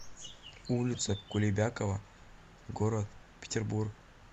улица кулебякова город петербург